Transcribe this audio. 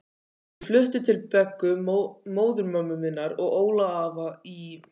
Ég flutti til Beggu móðurömmu minnar og Óla afa í